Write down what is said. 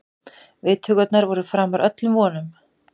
Viðtökurnar voru framar öllum vonum